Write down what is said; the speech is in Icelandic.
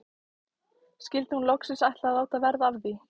Skyldi hún loksins ætla að láta verða af því?